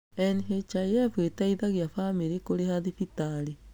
NHIF ĩteithagia bamĩrĩ kũrĩha thibitarĩ.